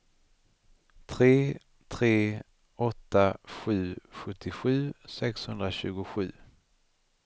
tre tre åtta sju sjuttiosju sexhundratjugosju